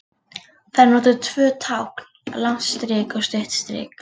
Þar eru notuð tvö tákn, langt strik og stutt strik.